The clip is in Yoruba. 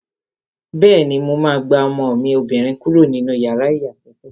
Bẹ́ẹ̀ni, mo máa gba ọmọ mi obìnrin kúrò nínú yàrá ìyàsọ́tọ̀